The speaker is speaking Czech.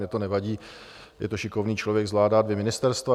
Mně to nevadí, je to šikovný člověk, zvládá dvě ministerstva.